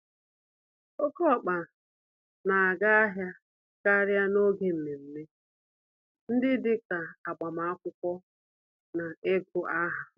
Oké ọkpa n'aga ahịa karịa n'oge mmeme ndị dịka agbamakwụkwọ, na igụ-áhà.